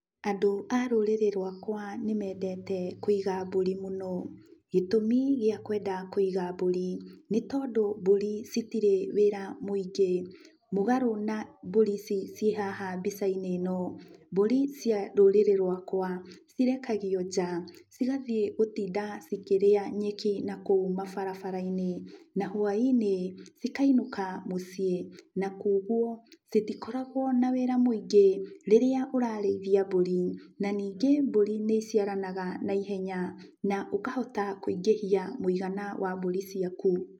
Andũ a rũrĩrĩ rwakwa nĩ mendete kwĩga mbũri mũno, gĩtũmi gĩa kwenda kũiga mbũri, nĩ tondũ mbũri citirĩ wĩra mũingĩ, mũgarũ na mbũri ici cĩhaha mbica - inĩ ino, mbũri cia rũrĩrĩ rwakwa cirekagio nja, cigathiĩ gũtinda cikĩrĩa nyeki na kũu mabarabara - inĩ, na hwainĩ cikainũka mũciĩ, na kwoguo itikoragwo na wĩra mũingĩ rĩrĩa ũrarĩithia mbũri, na ningĩ mbũri nĩ iciaranaga na ihenya, na ũkahota kũingĩhia mũigana wa mbũri ciaku.